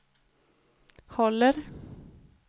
håller